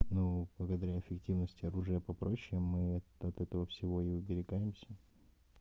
ну благодаря эффективности оружия попроще мы вот этого всего и оберегаемся